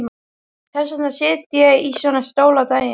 Þess vegna sit ég í svona stól á daginn.